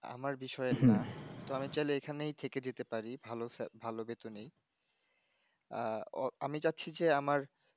আমার বিষয়ের না তো আমি চাইলে এখানেই থেকে যেতে পারি ভালো সা ভালো বেতনেই আহ ও আমি চাচ্ছি যে আমার